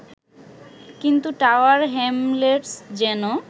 কিন্তু Tower Hamlets যেন